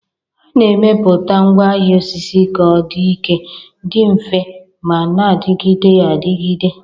A na-emepụta ngwaahịa osisi ka ọ dị ike, dị mfe ma na-adịgide adịgide.